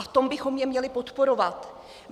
A v tom bychom je měli podporovat.